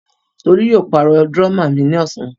Tolú yóò pàrọ̀ dúrọ́à mi ní ọ̀sán.